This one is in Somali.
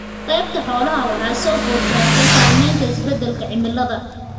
Qaybta xoolaha waxa soo food saartay saamaynta isbeddelka cimilada.